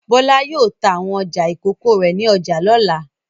Bọ́lá yóò ta àwọn ọjà ìkókó rẹ̀ ní ọjà lọ́la.